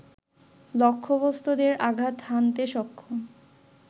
লক্ষ্যবস্তুতে আঘাত হানতে সক্ষম